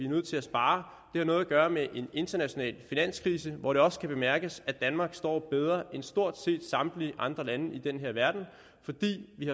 nødt til at spare det har noget at gøre med en international finanskrise hvor det også kan bemærkes at danmark står bedre end stort set samtlige andre lande i den her verden fordi vi